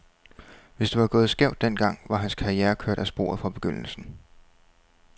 Hvis det var gået skævt den gang, var hans karriere kørt af sporet fra begyndelsen.